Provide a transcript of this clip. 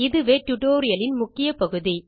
இதுவே டியூட்டோரியல் இல் முக்கிய பகுதி